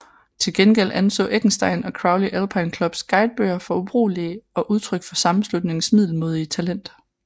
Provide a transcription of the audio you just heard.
Til gengæld anså Eckenstein og Crowley Alpine Clubs guidebøger for ubrugelige og udtryk for sammenslutningens middelmådige talent